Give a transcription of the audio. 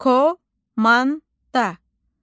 Komanda.